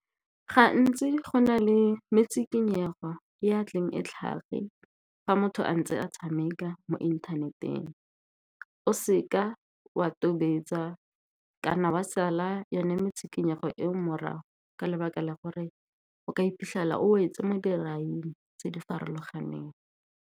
Gantsi go na le metshikinyego ya tleng e tlhage fa motho a ntse a tshameka mo inthaneteng. O seka wa tobetsa kana wa sala yone metshikinyego ko morago, ka lebaka la gore o ka iphitlhela o wetse mo diraing tse di farologaneng.